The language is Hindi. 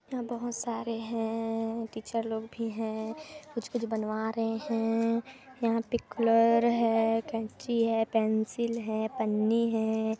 बहुत सारे है टीचर लोग भी है कुछ-कुछ बनवा रहे है यहाँ पर कलर है कैंची है पेंसिल है पन्नी है।